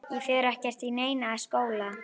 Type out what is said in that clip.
Ég fer ekkert í neinn skóla!